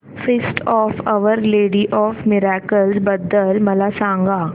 feast of Our Lady of Miracles बद्दल मला सांगा